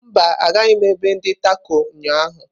Mba, agaghị m ebe ndi Tako ụnyaahụ.